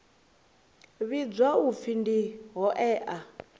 vhidzwa u pfi ndi hoea